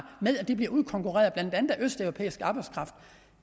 med at de bliver udkonkurreret af blandt andet østeuropæisk arbejdskraft